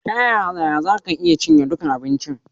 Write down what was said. Ta yaya za ka cinye duka abincin?